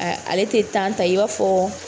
Ale te ta i b'a fɔ